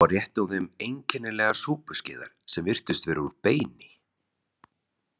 Svo rétti hún þeim einkennilegar súpuskeiðar sem virtust vera úr beini.